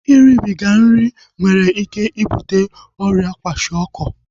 Iribiga nri nwere ike ibute ọrịa kwashiọkọ